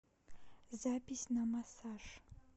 запись на массаж